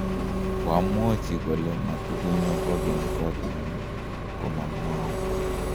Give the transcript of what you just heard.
koamwochi kole matukunyo kukenykotnyu ko mamwou